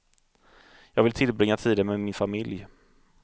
Jag vill tillbringa tiden med min familj.